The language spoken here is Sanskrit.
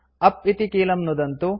उप् इति कीलं नुदन्तु